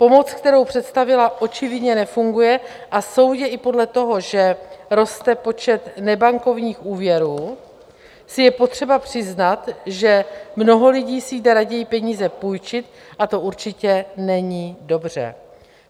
Pomoc, kterou představila, očividně nefunguje a soudě i podle toho, že roste počet nebankovních úvěrů, si je potřeba přiznat, že mnoho lidí si jde raději peníze půjčit, a to určitě není dobře.